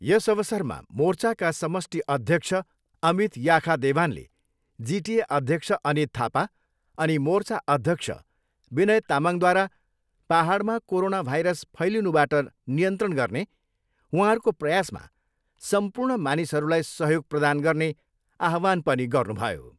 यस अवसरमा मोर्चाका समष्टि अध्यक्ष अमित याखा देवानले जिटिए अध्यक्ष अनित थापा, अनि मोर्चा अध्यक्ष विनय तामङद्वारा पाहाडमा कोरोना भाइरस फैलिनुबाट नियन्त्रण गर्ने उहाँहरूको प्रयासमा सम्पूर्ण मानिसहरूलाई सहयोग प्रदान गर्ने आह्वान पनि गर्नुभयो।